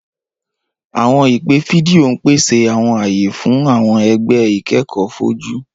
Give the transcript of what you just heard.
Awọn ipe fidio n pese awọn aye fun awọn ẹgbẹ ikẹkọ foju.